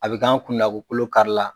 A bɛ k'an kun na ko kolo karila